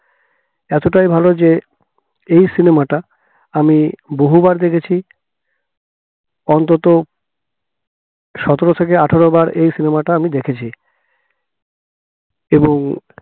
এতটাই ভালো যে এই cinema টা আমি বহুবার দেখেছি অন্তত সতেরো থেকে আঠেরো বার এই cinema টা আমি দেখেছি এবং